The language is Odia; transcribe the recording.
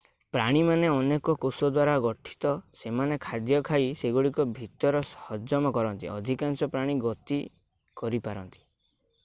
ପ୍ରାଣୀମାନେ ଅନେକ କୋଷ ଦ୍ୱାରା ଗଠିତ ସେମାନେ ଖାଦ୍ୟ ଖାଇ ସେଗୁଡ଼ିକୁ ଭିତରେ ହଜମ କରନ୍ତି ଅଧିକାଂଶ ପ୍ରାଣୀ ଗତି କରିପାରନ୍ତି